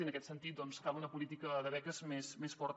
i en aquest sentit doncs cal una política de beques més forta